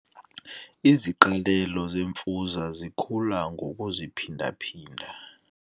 Iziqalelo zemfuza zikhula ngokuziphinda-phinda.